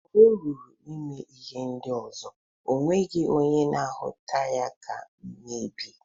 Mgbe oruru ime ihe ndi ozo o nweghi onye na ahuta ya ka mmebi.